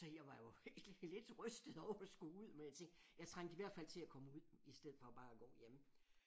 Så jeg var jo helt lidt rystet over at skulle ud men jeg tænkte jeg trængte i hvert fald til at komme ud i stedet for bare at gå hjemme